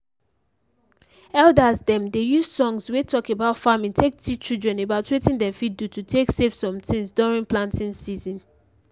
elders dem dey use songs wey talk about farming take teach children about wetin dem fit do to take save some tins during planting season